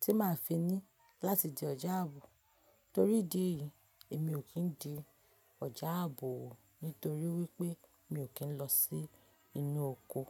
tí màá fi ní láti di ọ̀já àbò. Torí ìdí èyí, èmi ò kí ń di ọ̀já àbò wò nítorí wípé mi ò kí ń lọ sí inú oko.